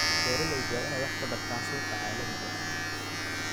Beeraleydu waa inay wax ka bartaan suuqa caalamiga ah.